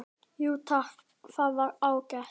Jú takk, það var ágætt